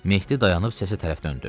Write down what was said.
Mehdi dayanıb səsə tərəf döndü.